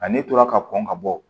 Ale tora ka kɔn ka bɔ